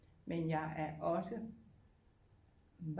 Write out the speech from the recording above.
Men jeg er også